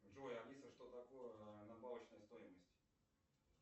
джой алиса что такое добавочная стоимость